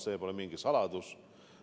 See pole mingi saladus.